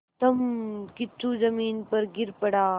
धम्मकिच्चू ज़मीन पर गिर पड़ा